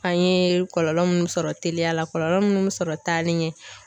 An ye kɔlɔlɔ minnu sɔrɔ teliya la kɔlɔlɔ minnu bɛ sɔrɔ taali ɲɛ.